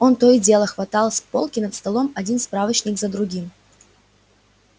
он то и дело хватал с полки над столом один справочник за другим